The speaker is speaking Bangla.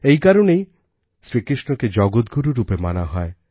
এই কারণেই শ্রীকৃষ্ণকে জগতগুরু রূপে মানা হয়